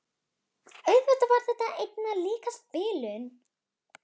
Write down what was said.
Auðvitað var þetta einna líkast bilun.